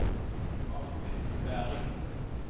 Martin Bergh